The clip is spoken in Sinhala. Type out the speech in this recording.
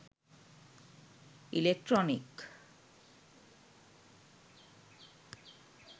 electronic